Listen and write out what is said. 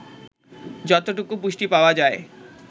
যতটুকু পুষ্টি পাওয়া যায়